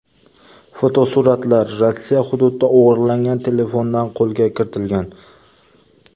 Fotosuratlar Rossiya hududida o‘g‘irlangan telefondan qo‘lga kiritilgan.